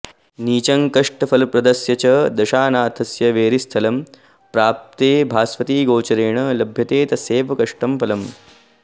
नीचं कष्टफलप्रदस्य च दशानाथस्य वैरिस्थलं प्राप्ते भास्वति गोचरेण लभते तस्यैव कष्टं फलम्